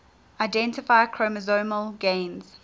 identify chromosomal gains